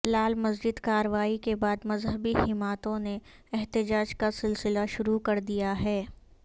لال مسجد کارروائی کے بعد مذہبی جماتوں نے احتجاج کا سلسلہ شروع کر دیا ہے